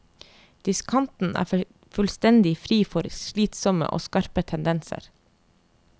Diskanten er fullstendig fri for slitsomme og skarpe tendenser.